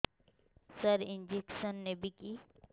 ସାର injection ନେବିକି